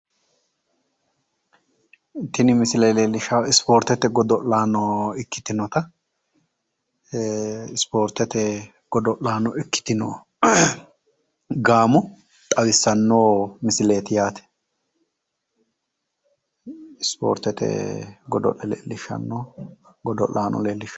Tini misile leellishshaaohu ispoortete godo'laano ikkitinota ispoortete godo'laano ikkitino gaamo xawissanno misileeti yaate. ispoortete godo'le leellishshanno godo'laano leellishshanno.